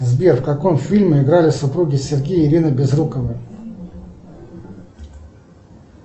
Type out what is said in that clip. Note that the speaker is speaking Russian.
сбер в каком фильме играли супруги сергей и ирина безруковы